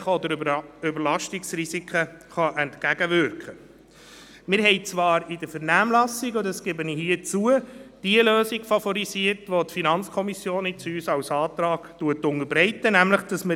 Punkt drei: Es ist uns ein grosses Anliegen, dass die Frage der Teilzeitarbeit in Bezug auf die Vereinbarkeit von Familienpflichten und Beruf auch beim Kader berücksichtigt wird.